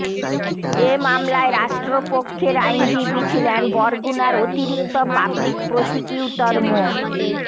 এ মামলায় রাষ্ট্রপক্ষের আইনজীবী ছিলেন বরগুনার অতিরিক্ত পাবলিক প্রসিকিউটর মো